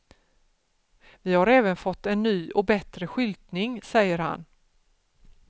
Vi har även fått en ny och bättre skyltning, säger han.